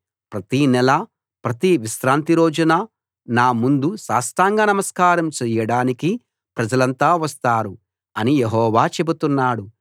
ప్రతి నెలా ప్రతి విశ్రాంతిరోజున నా ముందు సాష్టాంగ నమస్కారం చేయడానికి ప్రజలంతా వస్తారు అని యెహోవా చెబుతున్నాడు